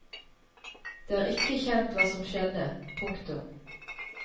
Det er ikke kjent hva som skjedde. punktum